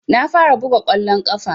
Na fara buga kwallon kafa